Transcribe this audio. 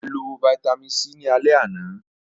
A lọ Vitamin c ni alẹ ana.